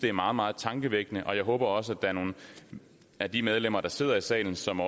er meget meget tankevækkende og jeg håber også at der er nogle af de medlemmer der sidder i salen som